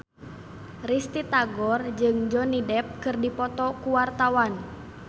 Risty Tagor jeung Johnny Depp keur dipoto ku wartawan